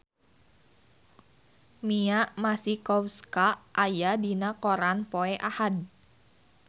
Mia Masikowska aya dina koran poe Ahad